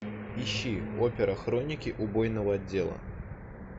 ищи опера хроники убойного отдела